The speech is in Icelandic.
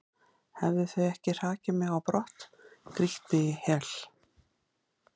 hefðu þau ekki hrakið mig á brott, grýtt mig í hel?